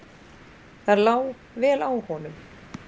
Það lá vel á honum.